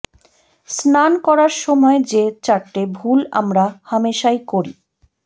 স্নান করার সময় যে চারটে ভুল আমরা হামেশাই করি